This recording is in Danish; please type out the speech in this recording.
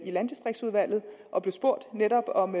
landdistriktsudvalget og blev spurgt netop om